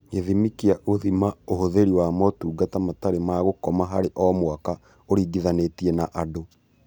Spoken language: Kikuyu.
Gĩthimi kĩa gũthima ũhũthĩri wa motungata matarĩ ma gũkoma harĩ o mwaka ũringithanĩtie na andũ